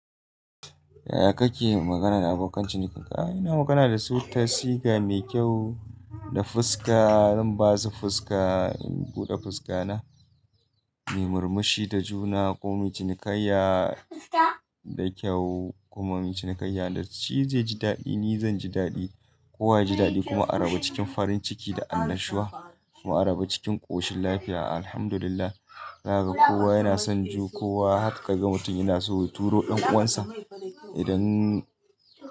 Yaya kake magana da abokan cinikinka? A'a, ina magana da su tasiga mai kyau, da fiska, in ba su fiska, in buɗe fiska na, mai murmushi da juna, komai cinikayya da kyau kuma cinikayya da shi zai ji daɗi, ni zan ji daɗi, kowa ya ji daɗi kuma a raba cikin farin ciki da annashuwa kuma a raba cikin ƙoshin lafiya. Alhamdulillah, zaka gan kowa yana son ju, kowa har ka gan mutum yana so ya turo ɗan uwansa idan.